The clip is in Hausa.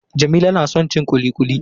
Jamila na son cin ƙuliƙuli.